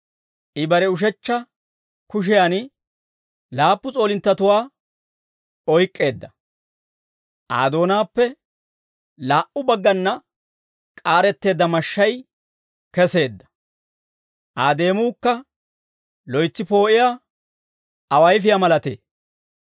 I bare ushechcha kushiyan laappu s'oolinttatuwaa oyk'k'eedda. Aa doonaappe laa"u baggana k'aaretteedda mashshay keseedda. Aa deemuukka loytsi poo'iyaa awayfiyaa malatee.